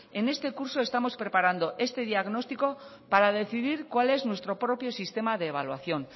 en este curso estamos preparando este diagnóstico para decidir cuál es nuestro propio sistema de evaluación